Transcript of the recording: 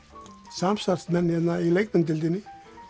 samstarfsmenn hérna í leikmyndadeildinni í